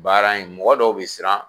Baara in mɔgɔ dɔw bɛ siran